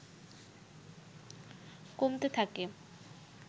কমতে থাকে